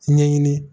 Ɲɛɲini